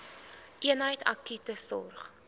eenheid akute sorg